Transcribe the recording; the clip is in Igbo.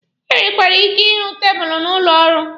E nwekwara ike ịhụ tabụlụ n'ụlọ ọrụ.